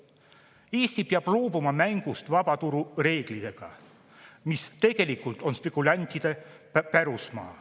Eesti peab loobuma mängust vabaturu reeglitega, mis tegelikult on spekulantide pärusmaa.